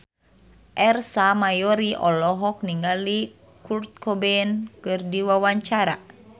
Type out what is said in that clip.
Ersa Mayori olohok ningali Kurt Cobain keur diwawancara